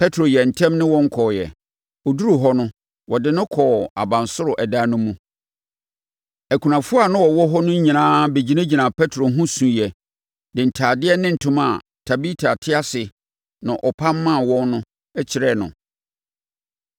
Petro yɛɛ ntɛm ne wɔn kɔeɛ. Ɔduruu hɔ no, wɔde no kɔɔ abansoro dan no mu. Akunafoɔ a na wɔwɔ hɔ no nyinaa bɛgyinagyinaa Petro ho suiɛ de ntadeɛ ne ntoma a Tabita te ase no ɔpam maa wɔn no kyerɛɛ no.